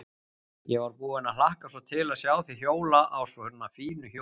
Ég var búin að hlakka svo til að sjá þig hjóla á svona fínu hjóli.